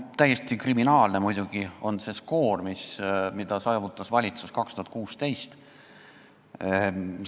Täiesti kriminaalne on muidugi see skoor, mille saavutas valitsus 2016. aastal.